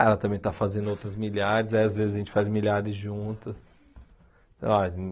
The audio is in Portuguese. Ela também está fazendo outros milhares, aí às vezes a gente faz milhares juntas. Oh